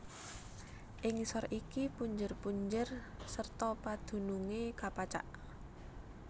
Ing ngisor iki punjer punjer serta padunungé kapacak